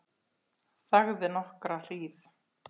Þagði nokkra hríð.